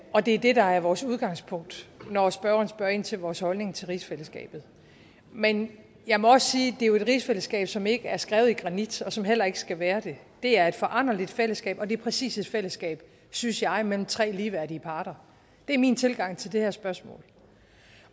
og det er det der er vores udgangspunkt når spørgeren spørger ind til vores holdning til rigsfællesskabet men jeg må også sige at det jo er et rigsfællesskab som ikke er skrevet i granit og som heller ikke skal være det det er et foranderligt fællesskab og det er præcis et fællesskab synes jeg mellem tre ligeværdige parter det er min tilgang til det her spørgsmål